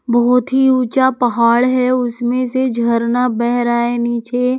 बहुत ही ऊंचा पहाड़ है उसमें से झरना बह रहा है नीचे।